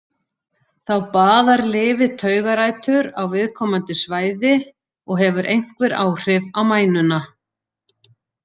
Þá baðar lyfið taugarætur á viðkomandi svæði og hefur einhver áhrif á mænuna.